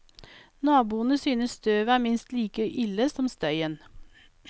Naboene synes støvet er minst like ille som støyen.